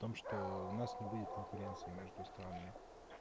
о том что у нас не будет конкуренции между странами